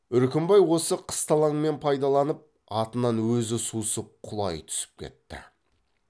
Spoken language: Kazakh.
үркімбай осы қысталаңмен пайдаланып атынан өзі сусып құлай түсіп кетті